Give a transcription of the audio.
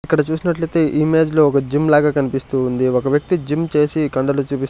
ఇక్కడ చూసినట్లయితే ఇమేజ్ లో ఒక జిమ్ లాగా కనిపిస్తూ ఉంది ఒక వ్యక్తి జిమ్ చేసి కండలు చూపిస్--